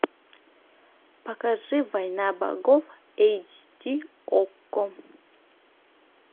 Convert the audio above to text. покажи война богов эйч ди окко